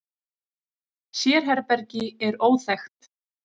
Sérherbergi er óþekkt.